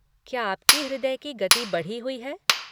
क्या आपकी हृदय की गति बढ़ी हुई है?